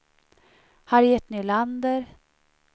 Harriet Nylander